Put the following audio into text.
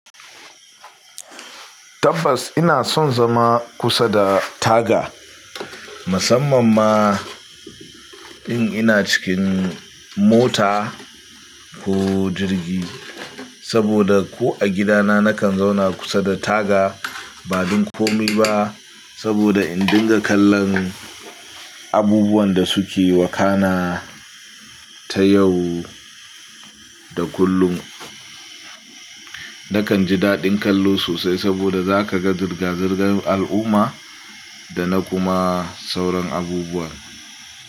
Tabbas ina son zama kusa da taga, musamman ma in ina cikin mota ko jirgi, saboda ko a gidana nakan zauna kusa da taga. Ba don komai ba saboda in dinga kallon abubuwan da suke wakana ta yau da kullum. Nakan ji daɗin kallo sosai saboda zaka ga zirga-zirgan al'umma da na kuma sauran abubuwa.